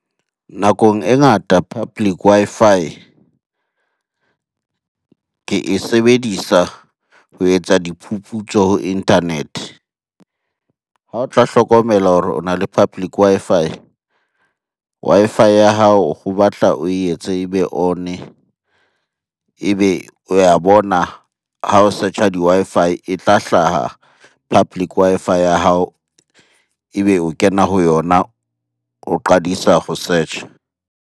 Nakong e ngata public Wi-Fi ke e sebedisa ho etsa diphuputso ho internet-e. Ha o tla hlokomela hore o na le public Wi-Fi, Wi-Fi ya hao ho batla o etse ebe on-e. Ebe o ya bona ha o search-a di-Wi-Fi e tla hlaha public Wi-Fi ya hao. Ebe o kena ho yona o qadisa ho search-a.